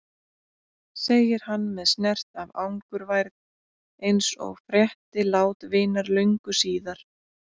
segir hann með snert af angurværð eins og frétti lát vinar löngu síðar.